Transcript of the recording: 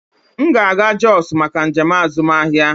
M ga-aga Jos maka njem azụmahịa.